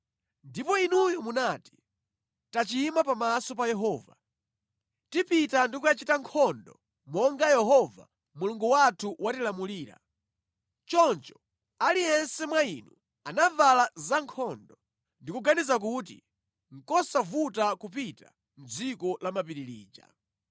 Ndipo inuyo munati, “Tachimwa pamaso pa Yehova. Tipita ndi kukachita nkhondo monga Yehova Mulungu wathu watilamulira.” Choncho aliyense wa inu anavala zankhondo, ndi kuganiza kuti nʼkosavuta kupita mʼdziko la mapiri lija.